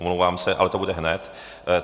Omlouvám se, ale to bude hned.